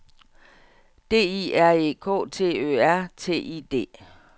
D I R E K T Ø R T I D